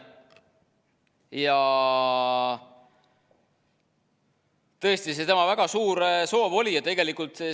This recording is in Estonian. Ja tõesti, oli tema väga suur soov.